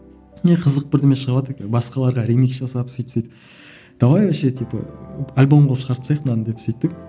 не қызық бірдеме басқаларға ремикс жасап сөйтіп сөйтіп давай вообще типа альбом қылып шығарып тастайық мынаны деп сөйттік